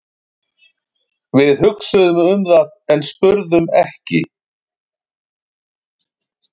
Við hugsuðum um það en spurðum ekki.